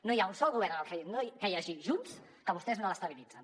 no hi ha un sol govern en el que hi hagi junts que vostès no l’estabilitzin